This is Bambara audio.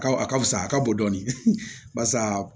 A ka fisa a ka bɔ dɔɔnin barisa